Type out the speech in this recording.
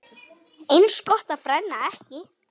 Eins gott að brenna ekki!